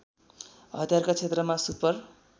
हतियारका क्षेत्रमा सुपर